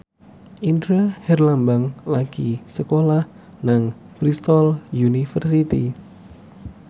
Indra Herlambang lagi sekolah nang Bristol university